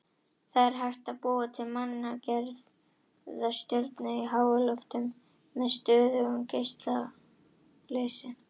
Það er hægt að búa til manngerða stjörnu í háloftunum með stöðugum geisla leysis.